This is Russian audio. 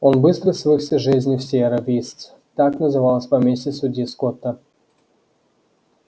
он быстро свыкся с жизнью в сиерра вистс так называлось поместье судьи скотта